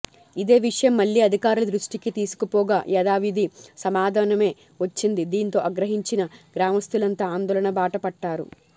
ఇదే విషయం మళ్ళీ అధికారుల దృష్టికి తీసుకుపోగ యధావిధి సమాధానమే వచ్చింది దీంతో అగ్రహించిన గ్రామస్తులంతా ఆందోళన బాట పట్టారు